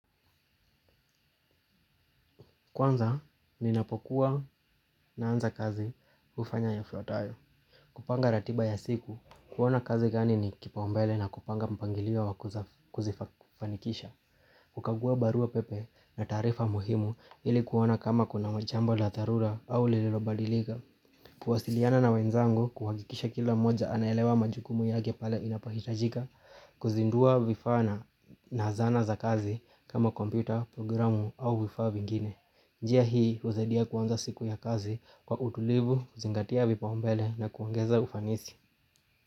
Kwanza, ninapokuwa naanza kazi hufanya yafuatayo. Kupanga ratiba ya siku, kuona kazi gani ni kipaombele na kupanga mpangilio wa kuzifanikisha. Kukagua barua pepe na taarifa muhimu ili kuona kama kuna majambo la dharura au lililobadilika. Kuwasiliana na wenzangu kuhakikisha kila moja anaelewa majukumu yake pale inapohitajika. Kuzindua vifaa na na zana za kazi kama kompyuta, programu au vifaa vingine. Njia hii husadia kuanza siku ya kazi kwa utulivu, zingatia vipaumbele na kuongeza ufanisi.